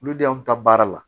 Olu de y'anw ta baara la